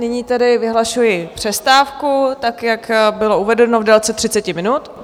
Nyní tedy vyhlašuji přestávku tak, jak bylo uvedeno, v délce 30 minut.